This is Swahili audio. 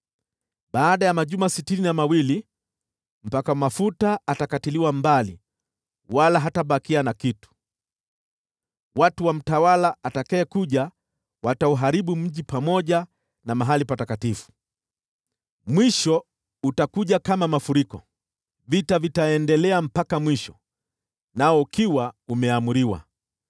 Baada ya majuma sitini na mawili, Mpakwa Mafuta atakatiliwa mbali, wala hatabaki na kitu. Watu wa mtawala atakayekuja watauharibu mji pamoja na mahali patakatifu. Mwisho utakuja kama mafuriko: Vita vitaendelea mpaka mwisho, nao ukiwa umeamriwa.